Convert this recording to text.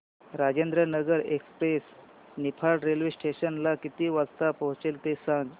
Rajendranagar express Niphad railway station ला किती वाजता पोहचते ते सांग